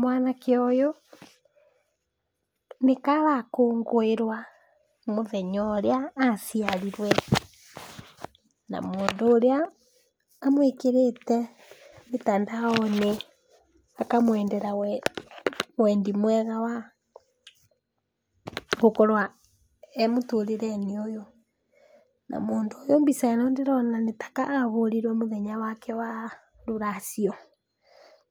Mwanake ũyũ nĩka arakũngũĩrwa mũthenya ũrĩa aciarirwe na mũndũ ũrĩa amwĩkĩrĩte mĩtandaonĩ akamwendera wendi wega wa gũkorwa emũtũrĩrenĩ ũyũ. Na mũndũ ũyũ mbica ĩno ndĩrona nĩtaka ahũrirwe mũthenya wake wa rũracio,